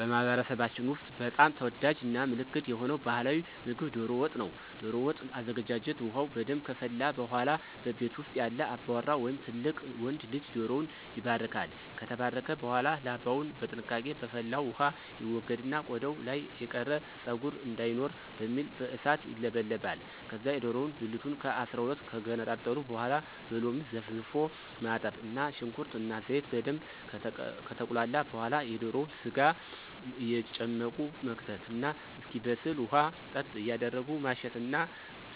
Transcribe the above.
በማህበረሰባችን ውስጥ በጣም ተወዳጅ እና ምልክት የሆነ ባህላዊ ምግብ ዶሮ ወጥ ነው። ዶሮ ወጥ አዘገጃጀት ውሃው በደንብ ከፈላ በኃላ በቤት ውስጥ ያለ አባወራ ወይም ትልቅ ወንድ ልጅ ዶሮውን ይባርካል። ከተባረከ በኃላ ላባውን በጥንቃቄ በፈላው ውሃ ይወገድና ቆዳው ላይ የቀረ ፀጉር እንዳይኖር በሚል በእሳት ይለበለባል። ከዛ የዶሮውን ብልቱን ከ12 ከገነጣጠሉ በኃላ በሎሚ ዘፍዝፎ ማጠብ እና ሽንኩርት እና ዘይት በደንብ ከተቁላላ በኃላ የዶሮውን ስጋ እየጨመቁ መክተት እስኪበስል ውሃ ጠብ እያረጉ ማሸት እና